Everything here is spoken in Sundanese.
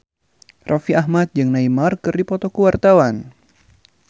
Raffi Ahmad jeung Neymar keur dipoto ku wartawan